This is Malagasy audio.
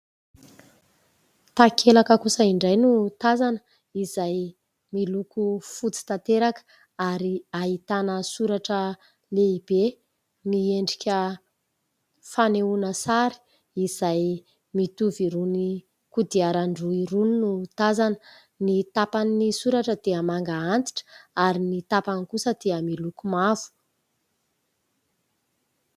Takelaka kosa indray no tazana, izay miloko fotsy tanteraka. Ary ahitana soratra lehibe miendrika fanehoana sary, izay mitovy amin'irony kodiaran-droa irony no tazana : ny tapan'ny soratra dia manga antitra, ary ny tapany kosa dia miloko mavo.